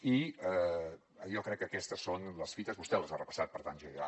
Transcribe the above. i jo crec que aquestes són les fites vostè les ha repassat per tant jo ja